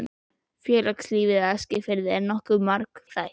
Félagslíf á Eskifirði var nokkuð margþætt.